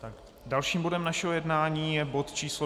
Dalším bodem našeho jednání je bod číslo